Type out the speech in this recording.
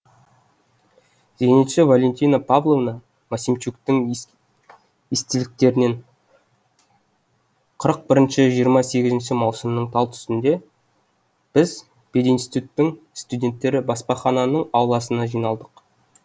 зенитші валентина павловна максимчуктің естеліктерінен қырық біріншінің жиырма сегізінші маусымының талтүсінде біз пединституттің студенттері баспахананың ауласына жиналдық